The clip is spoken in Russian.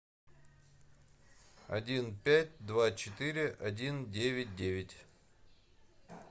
один пять два четыре один девять девять